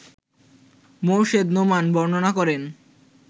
মোর্শেদ নোমান বর্ণনা করেন